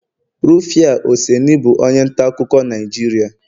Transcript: Rufia oseni bụ onye nta akụkọ Naijiria